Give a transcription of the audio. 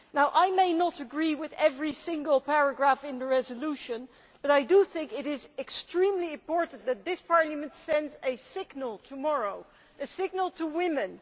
Now I may not agree with every single paragraph in the resolution, but I do think it is extremely important that this Parliament send a signal tomorrow, a signal to women.